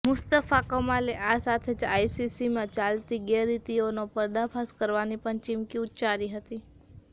મુશ્તફા કમાલે આ સાથે જ આઇસીસીમાં ચાલતી ગેરરીતિઓનો પર્દાફાશ કરવાની પણ ચીમકી ઉચ્ચારી હતી